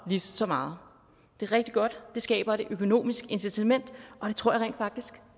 lige så meget det er rigtig godt det skaber et økonomisk incitament og jeg tror rent faktisk